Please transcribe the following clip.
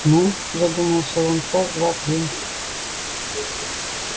ну задумался он час-два в день